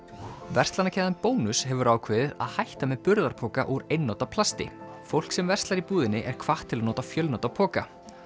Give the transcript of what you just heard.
verslanakeðjan Bónus hefur ákveðið að hætta með burðarpoka úr einnota plasti fólk sem verslar í búðinni er hvatt til að nota fjölnota poka